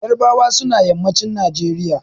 Ƴarbawa suna yammacin Najeriya.